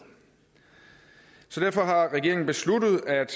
så derfor har regeringen besluttet at